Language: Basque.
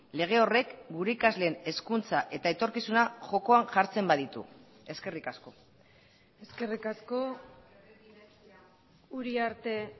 lege horrek gure ikasleen hezkuntza eta etorkizuna jokoan jartzen baditu eskerrik asko eskerrik asko uriarte